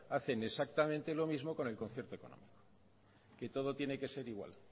hacen exactamente lo mismo con el concierto económico que todo tiene que ser igual